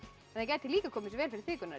það gæti líka komið sér vel fyrir þig Gunnar